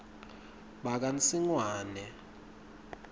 bakansingwane